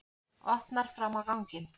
Opnar fram á ganginn.